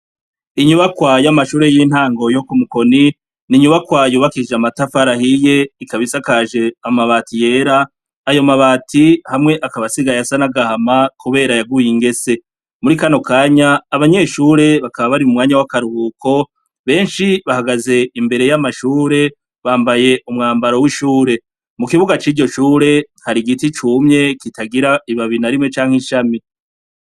Inyubakwa y’ amashure y'intango yo ku mukoni ninyubakwayo bakije amatafarahiye ikabisakaje amabati yera ayo mabati hamwe akabasigaye asa nagahama, kubera yaguye ingese muri kano kanya abanyeshure bakaba bari mu mwanya w'akaruhuko benshi bahagaze imbere y'amashure bambaye umwambaro w'ishure mu kibuga c'iryo cure kari igiti cumye kitagira ibabi na rimwe canke ishami.